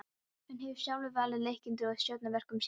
Hann hefur sjálfur valið leikendur og stjórnað verkum sínum.